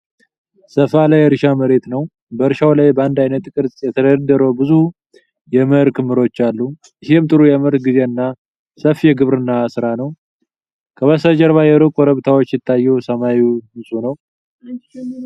ሰፋ ያለ የእርሻ መሬት ነው። በእርሻው ላይ በአንድ ዓይነት ቅርጽ የተደረደሩ ብዙ የመኸር ክምሮች አሉ። ይህም ጥሩ የምርት ጊዜንና ሰፊ የግብርና ሥራ ነው። ከበስተጀርባ የሩቅ ኮረብታዎች ሲታዩ ሰማዩ ንጹህ ነው።